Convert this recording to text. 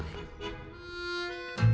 í